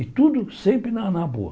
E tudo sempre na na boa.